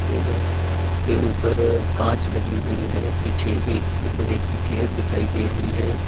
Table के ऊपर कांच लगी हुई है पीछे एक लोहे की चेयर दिखाई दे रही है।